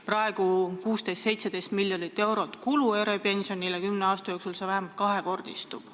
Praegu kulutatakse eripensionidele 16–17 miljonit eurot, kümne aasta jooksul see summa vähemalt kahekordistub.